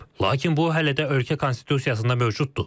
Lakin bu hələ də ölkə konstitusiyasında mövcuddur.